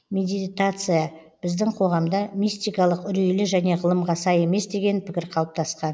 медитация біздің қоғамда мистикалық үрейлі және ғылымға сай емес деген пікір қалыптасқан